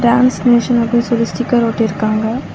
Dance nation அப்டின்னு சொல்லி sticker ஒட்டிருக்காங்க.